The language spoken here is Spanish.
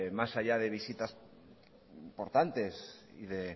más allá de visitas importantes y de